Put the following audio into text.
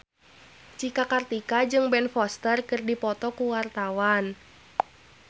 Cika Kartika jeung Ben Foster keur dipoto ku wartawan